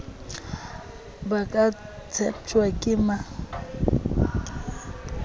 ba ka tsheptjwang ke ba